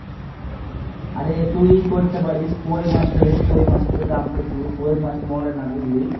আরে তুই করতে পারিস কই মাছ ফেলিস কই মাছের তো দাম প্রচুর কই মাছ মরে না বুঝলি।